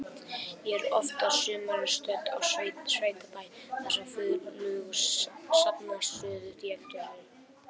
Ég er oft á sumrin stödd á sveitabæ þar sem flugur safnast stöðugt í eldhúsið.